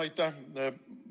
Aitäh!